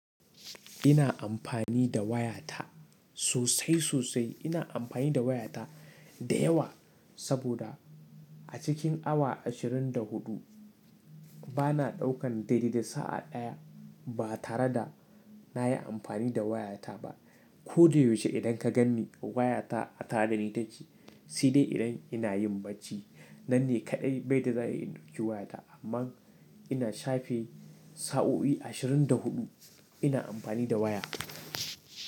Ina amfani da wayata sosai sosai. Ina amfani da wayata da yawa saboda a cikin awa ashirin da huɗu ba na ɗaukan daidai da sa'a ɗaya ba tare da na yi amfani da wayata ba. Ko da yaushe idan ka ganni wayata a tada, ita ce, shi ne idan ina yin bacci. Nan ne kaɗai bai da za'i ɗauki wayata. Amma ina shafe sa'o'i ashirin da huɗu ina amfani da waya.